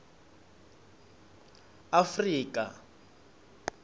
afrika